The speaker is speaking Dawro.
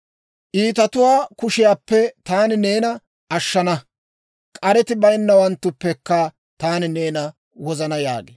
Iitatuwaa kushiyaappe taani neena ashshana; k'areti bayinnawanttuppekka taani neena wozana» yaagee.